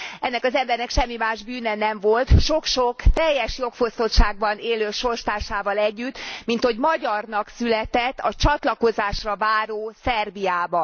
Ennek az embernek semmi más bűne nem volt, sok sok teljes jogfosztottságban élő sorstársával együtt, minthogy magyarnak született a csatlakozásra váró Szerbiában.